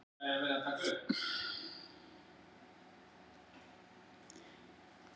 Fjölbreytileiki erfðaefnis sem rekja má til stökkbreytinga er því hverri tegund verðmætur.